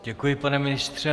Děkuji, pane ministře.